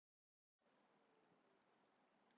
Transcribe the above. Í fangelsi fyrir þjófnað